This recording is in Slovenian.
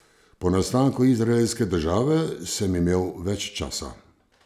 Po nastanku izraelske države sem imel več časa.